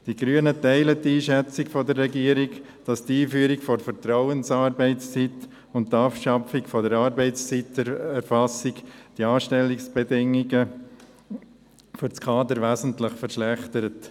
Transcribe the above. Die Grünen teilen die Einschätzung der Regierung, wonach die Einführung der Vertrauensarbeitszeit und die Abschaffung der Arbeitszeiterfassung die Anstellungsbedingungen für das Kader wesentlich verschlechtern.